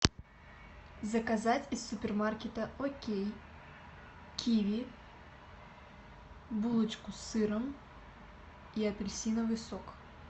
заказать из супермаркета окей киви булочку с сыром и апельсиновый сок